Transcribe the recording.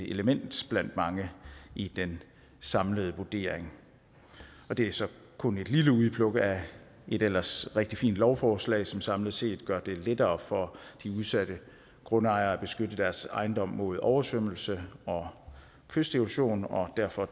element blandt mange i den samlede vurdering det er så kun et lille udpluk af et ellers rigtig fint lovforslag som samlet set gør det lettere for de udsatte grundejere at beskytte deres ejendom mod oversvømmelser og kysterosion og derfor